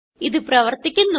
ഇത് പ്രവർത്തിക്കുന്നു